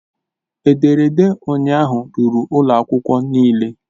Ederede ụnyaahụ ruru ụlọ akwụkwọ niile